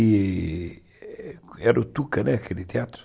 Era o Tuca, né, aquele teatro.